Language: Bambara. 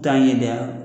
Taa ɲɛ dɛ